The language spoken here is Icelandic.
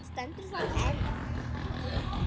Stendur það enn?